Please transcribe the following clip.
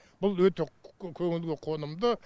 бұл өте көңілге қонымды